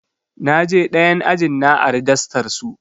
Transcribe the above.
Na je ɗayan ajin na ari dastar su.